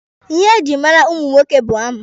Ihe ejiri mara ụmụ nwoke bụ amụ.